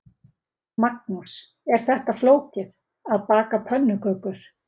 Magnús: Er þetta flókið, að baka pönnukökur?